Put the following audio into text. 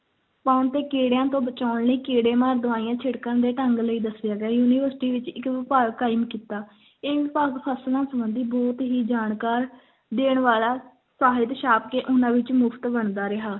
ਪਾਉਣ ਤੇ ਕੀੜਿਆਂ ਤੋਂ ਬਚਾਉਣ ਲਈ ਕੀੜੇ ਮਾਰ ਦਵਾਈਆਂ ਛਿੜਕਣ ਦੇ ਢੰਗ ਲਈ ਦੱਸੇ ਗਏ university ਵਿੱਚ ਇੱਕ ਵਿਭਾਗ ਕਾਇਮ ਕੀਤਾ, ਇਹ ਵਿਭਾਗ ਫਸਲਾਂ ਸੰਬੰਧੀ ਬਹੁਤ ਹੀ ਜਾਣਕਾਰ ਦੇਣ ਵਾਲਾ ਸਾਹਿਤ ਛਾਪ ਕੇ ਉਹਨਾਂ ਵਿੱਚ ਮੁਫ਼ਤ ਵੰਡਦਾ ਰਿਹਾ।